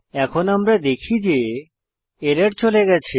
এখন আমরা দেখি যে এরর চলে গেছে